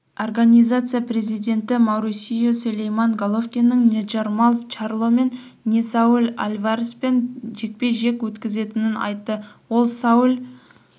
организация президенті маурисио сулейман головкиннің не джермалл чарломен не сауль альвареспен жекпе-жек өткізетінін айтты ол сауль